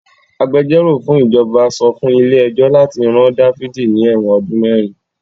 Agbẹjọ́rò fún ìjọba sọ fún ilé ẹjọ́ láti rán Dáfídì ní ẹ̀wọ̀n ọdún mẹ́rin.